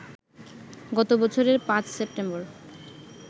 গত বছরের ৫ সেপ্টেম্বর